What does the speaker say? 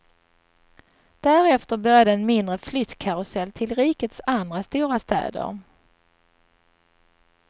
Därefter började en mindre flyttkarusell till rikets andra stora städer.